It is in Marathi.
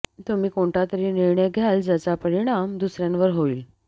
तुम्ही कोणता तरी निर्णय घ्याल ज्याचा परिणाम दुसऱ्यांवर होईल